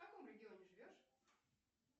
в каком регионе живешь